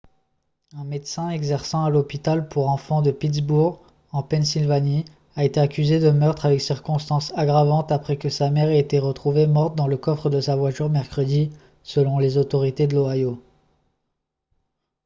un médecin exerçant à l'hôpital pour enfants de pittsburgh en pennsylvanie a été accusé de meurtre avec circonstances aggravantes après que sa mère ait été retrouvée morte dans le coffre de sa voiture mercredi selon les autorités de l'ohio